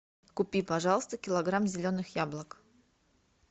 купи пожалуйста килограмм зеленых яблок